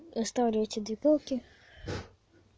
оставлю эти две палки